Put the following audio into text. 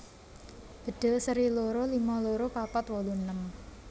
Bedhil seri loro lima loro papat wolu enem